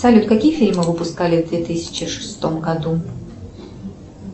салют какие фильмы выпускали в две тысячи шестом году